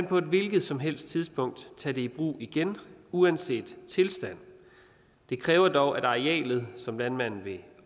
på et hvilket som helst tidspunkt tage det i brug igen uanset tilstand det kræver dog at arealet som landmanden vil